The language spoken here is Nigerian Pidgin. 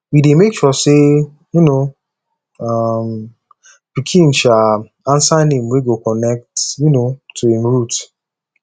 we dey make sure sey um um pikin um answer name wey go connect um to im root